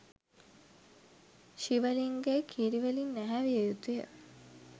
ශිව ලිංගය කිරිවලින් නැහැවිය යුතුය